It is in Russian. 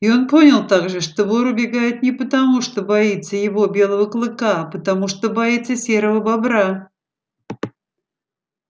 и он понял также что вор убегает не потому что боится его белого клыка а потому что боится серого бобра